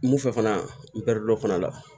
Mun fɛ fana n bɛ dɔ fana la